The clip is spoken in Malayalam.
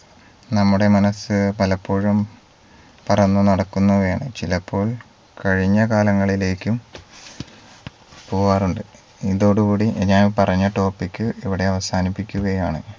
നമ്മുടെ മനസ്സ് പലപ്പോഴും പറന്നു നടക്കുന്നവയാണ് ചിലപ്പോൾ കഴിഞ്ഞ കാലങ്ങളിലേക്കും പോവ്വാറുണ്ട് ഇതോടുകൂടി ഞാൻ പറഞ്ഞ topic ഇവിടെ അവസാനിപ്പിക്കുകയാണ്